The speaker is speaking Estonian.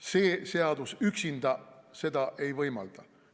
See seadus üksinda seda ei võimalda.